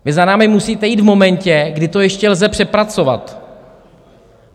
Vy za námi musíte jít v momentě, kdy to ještě lze přepracovat.